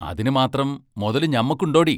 അതിനുമ്മാത്രം മൊതല് ഞമ്മക്ക് ഒണ്ടോടി?